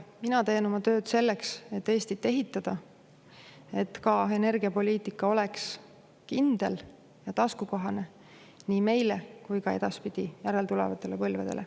Mina teen oma tööd selleks, et Eestit ehitada, et ka energiapoliitika oleks kindel ja taskukohane nii meile kui ka edaspidi, järeltulevatele põlvedele.